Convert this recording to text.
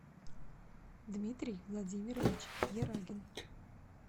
дмитрий владимирович ерагин